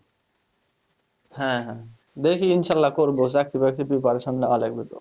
হ্যাঁ হ্যাঁ দেখি ইনশাআল্লাহ করবো চাকরি বাকরি preparation নেওয়া লাগবে তো